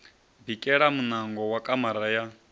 bikela muṋango wa kamara ya